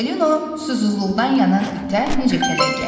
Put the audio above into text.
Çipollino susuzluqdan yanan itə necə kələk gəldi?